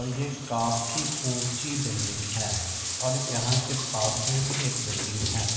और ये काफी ऊँची बिल्डिंग है और यहाँ के पास में भी एक बिल्डिंग है।